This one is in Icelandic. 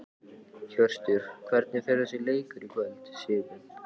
Hjörtur: Hvernig fer þessi leikur í kvöld, Sigurbjörn?